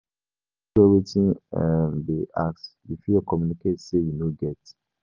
If you no get wetin um dem dey ask, you fit communicate sey you no get